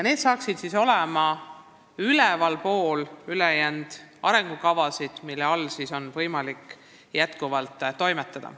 Need tähendaksid siis kõrgemal tasemel kokkuleppeid, kui on arengukavad, mille alusel on võimalik konkreetselt toimetada.